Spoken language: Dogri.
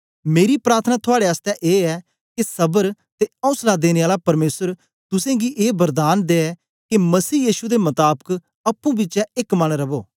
मेरी प्रार्थना थुआड़े आसतै ए ऐ के सबर ते औसला देने आला परमेसर तुसेंगी ए वरदान दे के मसीह यीशु दे मताबक अप्पुं बिचें च एक मन रवो